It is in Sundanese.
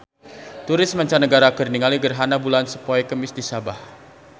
Turis mancanagara keur ningali gerhana bulan poe Kemis di Sabah